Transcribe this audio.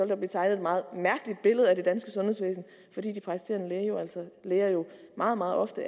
der blive tegnet et meget mærkeligt billede af det danske sundhedsvæsen fordi de praktiserende læger jo meget meget ofte